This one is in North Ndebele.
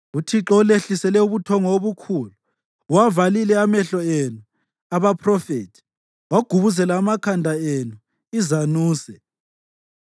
UThixo ulehlisele ubuthongo obukhulu: uwavalile amehlo enu (abaphrofethi); wagubuzela amakhanda enu (izanuse).